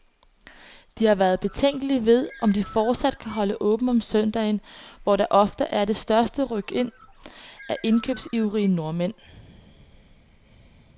De har været betænkelige ved, om de fortsat kan holde åbent om søndagen, hvor der ofte er det største rykind af indkøbsivrige nordmænd.